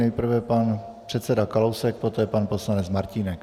Nejprve pan předseda Kalousek, poté pan poslanec Martínek.